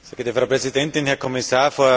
Frau Präsidentin, Herr Kommissar!